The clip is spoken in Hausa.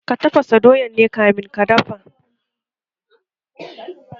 Ka tafasa doyan ne kamin ki dafa?